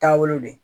Taabolo de